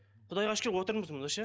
құдайға шүкір отырмыз мында ше